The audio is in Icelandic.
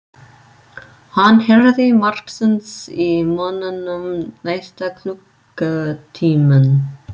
Hann heyrði margsinnis í mönnunum næsta klukkutímann.